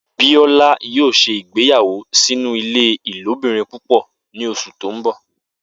Biola yoo se ìgbéyáwọ́ sinu ile ilobirin púpọ ni oṣu ti n bọ.